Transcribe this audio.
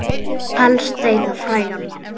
Og helst eiga frægan mann.